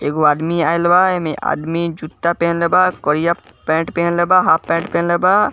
एगो आदमी आईल बा एमे आदमी जुत्ता पहनले बा करइया पैंट पहनले बा हाफ पैंट पहनले बा।